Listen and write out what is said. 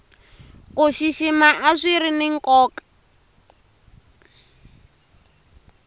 ku xixima a swiri ni nkoka